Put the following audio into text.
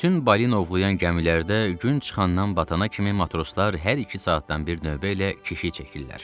Bütün balina ovlayan gəmilərdə gün çıxandan batana kimi matroslar hər iki saatdan bir növbə ilə keşiy çəkirlər.